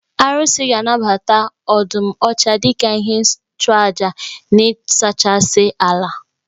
Arụsị ga anabata ọdụm ọcha dika ihe nchụaja na ịsachasị ala.